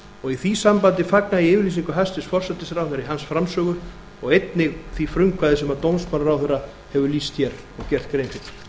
og í því sambandi fagna ég yfirlýsingu hæstvirts forsætisráðherra í hans framsögu og einnig því frumkvæði sem dómsmálaráðherra hefur lýst hér og gert grein fyrir